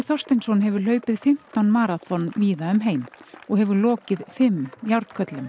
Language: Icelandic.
Þorsteinsson hefur hlaupið fimmtán maraþon víða um heim og hefur lokið fimm